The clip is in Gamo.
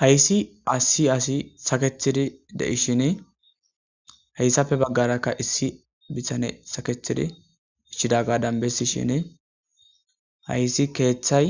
hayssi asi asi saketidi deishine hayssapfe baggarakka issi bitane saketidi ishshida gadan bessi shine hayssi keeththay